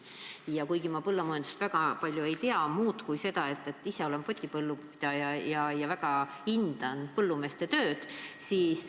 Ma küll põllumajandusest väga palju ei tea, ise olen üksnes potipõllupidaja, aga ma väga hindan põllumeeste tööd.